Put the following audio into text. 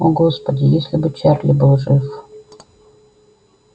о господи если бы чарли был жив